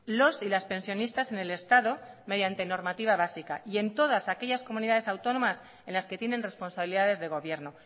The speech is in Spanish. los y las pensionistas en el estado mediante normativa básica y en todas aquellas comunidades autónomas en las que tienen responsabilidades de gobierno